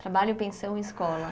Trabalho, pensão e escola.